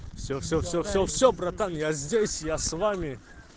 все все все все все братан я здесь я с вами